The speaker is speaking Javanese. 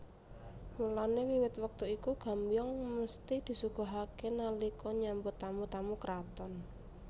Mulane wiwit wektu iku Gambyong mesthi disuguhake nalika nyambut tamu tamu kraton